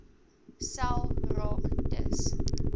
sel raak dus